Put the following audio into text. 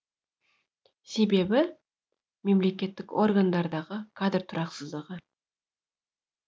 себебі мемлекеттік органдардағы кадр тұрақсыздығы